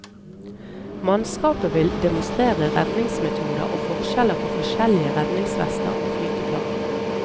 Mannskapet vil demonstrere redningsmetoder og forskjeller på forskjellige redningsvester og flyteplagg.